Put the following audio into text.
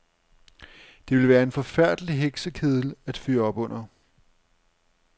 Det ville være en forfærdelig heksekedel at fyre op under.